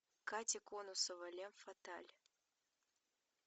катя конасова фем фаталь